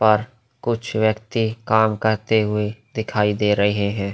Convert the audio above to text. पर कुछ व्यक्ति काम करते हुए दिखाई दे रहे हैं।